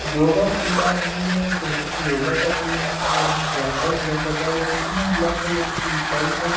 योगा की जा रही है एक लड़की योगा कर रही है उसके साइड में एक लड़का योगा कर रहा है लड़की ने ब्लैक कलर की शर्ट और--